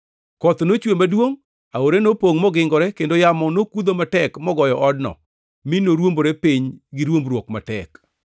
Koth nochwe maduongʼ, aore nopongʼ mogingore kendo yamo nokudho matek mogoyo odno, mi norwombore piny gi ruombruok matek.”